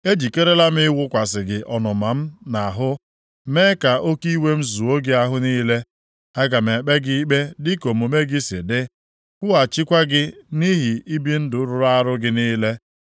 Ejikerela m ịwụkwasị gị ọnụma m nʼahụ mee ka oke iwe m zuo gị ahụ niile. Aga m ekpe gị ikpe dịka omume gị si dị, kwụghachikwa gị nʼihi ibi ndụ rụrụ arụ gị niile.